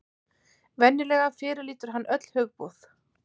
Venjulega fyrirlítur hann öll hugboð.